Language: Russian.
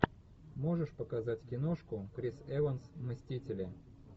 можешь показать киношку крис эванс мстители